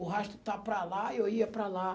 O rastro estava para lá e eu ia para lá.